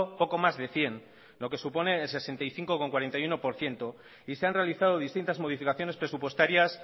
poco más de cien lo que supone el sesenta y cinco coma cuarenta y uno por ciento y se han realizado distintas modificaciones presupuestarias